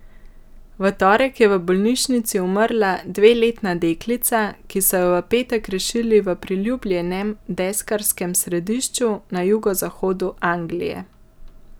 V torek je v bolnišnici umrla dveletna deklica, ki so jo v petek rešili v priljubljenem deskarskem središču na jugozahodu Anglije.